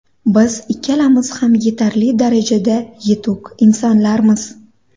Biz ikkalamiz ham yetarli darajada yetuk insonlarmiz.